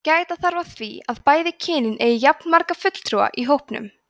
gæta þarf að því að bæði kynin eigi jafnmarga fulltrúa í hópnum